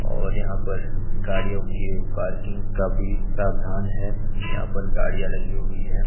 और यहां पर गाड़ियों के पार्किंग का भी प्रावधान है। यहां पर गाड़ियां लगी हुई है।